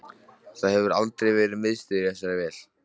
Það hefur aldrei verið miðstöð í þessari vél